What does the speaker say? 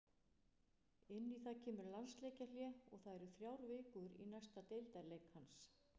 Inn í það kemur landsleikjahlé og það eru þrjár vikur í næsta deildarleik hans.